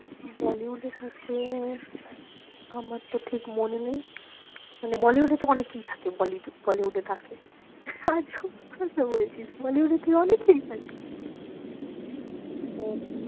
Bollywood এ থাকে আমার তো ঠিক মনে নেই মানে bollywood এ তো অনেকেই থাকে bollywood এ থাকে আজব কথা বলছিস bollywood এ তো অনেকেই থাকে ও